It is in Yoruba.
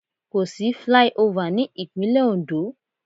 Kò sí flyover ní Ìpínlẹ̀ Oǹdó.